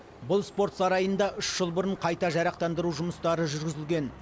бұл спорт сарайында үш жыл бұрын қайта жарақтандыру жұмыстары жүргізілген